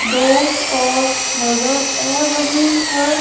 दो कार नजर आ रही है।